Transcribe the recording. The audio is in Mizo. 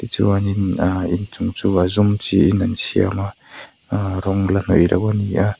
chuanin aaa inchung chu a zum chiin an siam a aaa rawng la hnawih loh a ni a.